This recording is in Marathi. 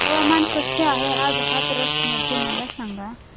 हवामान कसे आहे आज हाथरस मध्ये मला सांगा